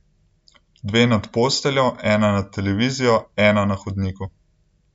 Dve nad posteljo, ena nad televizijo, ena na hodniku.